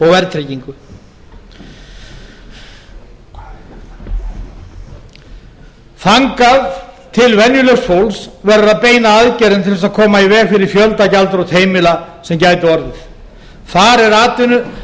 verðtryggingu þangað til venjulegs fólks verður að beina aðgerðum til að koma í veg fyrir fjöldagjaldþrot heimila sem gætu orðið þar